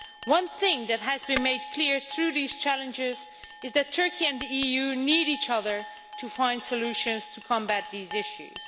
One thing that has been made clear through these challenges is that Turkey and the EU need each other to find solutions to combat these issues.